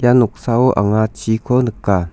noksao anga chiko nika.